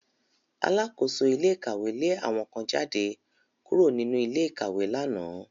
Alákóso ilé ìkàwé lé àwọn kan jáde kúrò nínú ilé ìkàwé lánàá